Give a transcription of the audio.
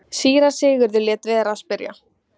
Þannig öðlaðist ég það sem ég gæfi öðrum.